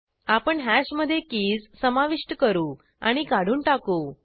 आपण हॅश मधे कीज समाविष्ट करू आणि काढून टाकू